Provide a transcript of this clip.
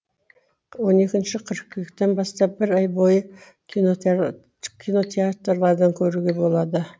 он екінші қыркүйектен бастап бір ай бойы кинотеатрлардан көруге болады